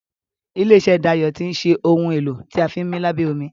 ilé iṣé Dayo tin ṣe Ohun èlò tí a fi ńmí lábẹ́ omi.